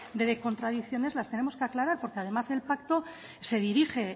de contradicciones las tenemos que aclarar porque además el pacto se dirige